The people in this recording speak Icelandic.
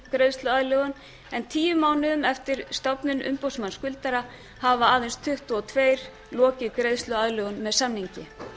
greiðsluaðlögun en tíu mánuðum eftir stofnun embættis umboðsmanns skuldara hafa aðeins tuttugu og tvö lokið greiðsluaðlögun með samningi